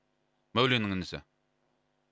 мәуленнің інісі